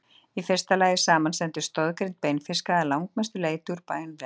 í fyrsta lagi samanstendur stoðgrind beinfiska að langmestu leyti úr beinvef